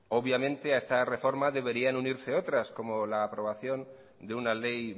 obviamente a esta reforma deberían unirse otras como la aprobación de una ley